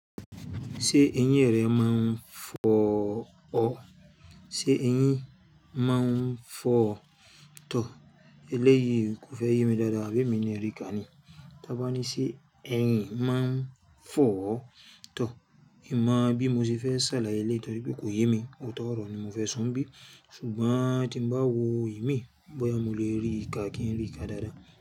Ṣé ẹ̀yin rẹ́ mọ̀ fọ́ ọ̀? Ṣé ẹ̀yin mọ̀ n fọ́ tọ̀? Elẹ́yii kò fẹ́ ye mi dáadáa bí èmi ni rí kà ní. Tábání ṣé ẹ̀yin mọ̀ fọ́ tọ̀? Í mọ̀ bí mo ṣe fẹ́ ṣàlàyé lé, torípé kò yemi. Ó tọ́ ọ̀rọ̀ ni mo fẹ́ sun bí, ṣùgbọ́n tí ń bá wo imi, bóyá mo lè rí ìka kí n rí ìka dáadáa.